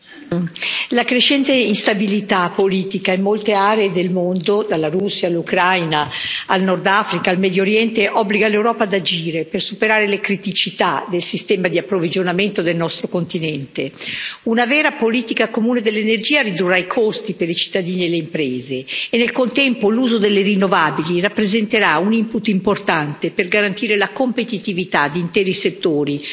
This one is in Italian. Signor Presidente, onorevoli colleghi, la crescente instabilità politica in molte aree del mondo, dalla Russia, all'Ucraina, al Nord Africa, al Medio Oriente, obbliga l'Europa ad agire per superare le criticità del sistema di approvvigionamento del nostro continente. Una vera politica comune dell'energia ridurrà i costi per i cittadini e le imprese e, nel contempo, l'uso delle rinnovabili rappresenterà un input importante per garantire la competitività di interi settori